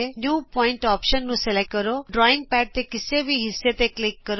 new point option ਨੂੰ select ਕਰੋ drawing pad ਦੇ ਕਿਸੇ ਵੀ ਹਿੱਸੇ ਤੇ ਕਲਿਕ ਕਰੋ